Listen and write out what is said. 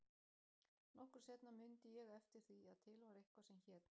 Nokkru seinna mundi ég eftir því að til var eitthvað sem hét